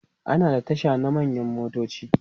ana da Tasha na manyan motoci